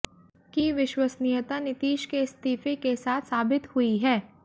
की विश्वसनीयता नीतीश के इस्तीफे के साथ साबित हुई है